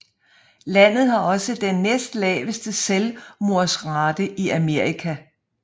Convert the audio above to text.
Landet har også den næstlaveste selvmordsrate i Amerika